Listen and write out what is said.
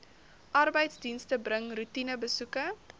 arbeidsdienste bring roetinebesoeke